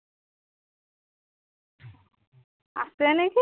আছে নিকি